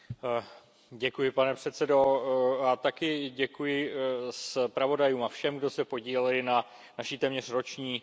Děkuji, pane předsedající, a také děkuji zpravodajům a všem, kdo se podíleli na naší téměř roční práci.